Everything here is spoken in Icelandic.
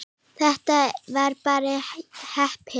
Þetta var bara heppni.